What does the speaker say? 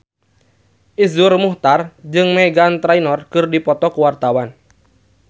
Iszur Muchtar jeung Meghan Trainor keur dipoto ku wartawan